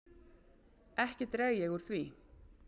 Ekki dreg ég úr því.